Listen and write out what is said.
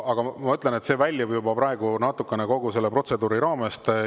Ma ütlen, et see natukene väljub praegu kogu protseduuri raamest.